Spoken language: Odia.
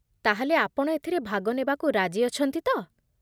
ତା'ହେଲେ, ଆପଣ ଏଥିରେ ଭାଗ ନେବାକୁ ରାଜି ଅଛନ୍ତି ତ?